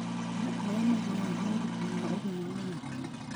Arũme arĩa magĩaga moritũ ma ũgima wa hakiri